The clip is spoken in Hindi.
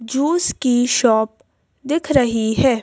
जूस की शॉप दिख रही है।